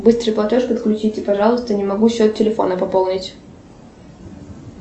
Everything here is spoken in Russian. быстрый платеж подключите пожалуйста не могу счет телефона пополнить